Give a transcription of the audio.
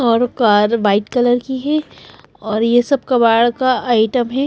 और car white colour की ही और ये सब कबाड़ का आइटम हे--